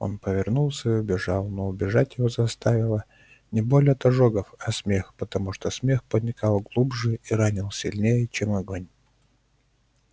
он повернулся и убежал но убежать его заставила не боль от ожогов а смех потому что смех проникал глубже и ранил сильнее чем огонь